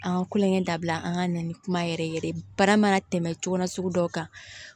An ka kulonkɛ dabila an ka na ni kuma yɛrɛ yɛrɛ ye baara mana tɛmɛ cogo na sugu dɔw kan